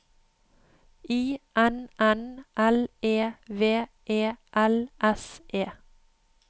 I N N L E V E L S E